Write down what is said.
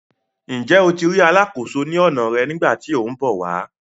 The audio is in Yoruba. Njẹ o tí ri alàkóso ní ọna rẹ nigbati tí ọ n bọ wà?